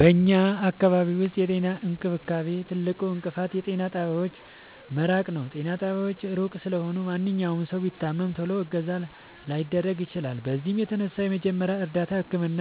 በኛ አካባቢ ዉስጥ የጤና እንክብካቤ ትልቁ እንቅፋት የጤና ጣቢያዎች መራቅ ነዉ። ጤና ጣቢያዎች እሩቅ ስለሆኑ ማንኛዉም ሠዉ ቢታመም ቶሎ እገዛ ላያገኝ ይችላል። በዚህም የተነሣ የመጀመሪያ እርዳታ ህክምና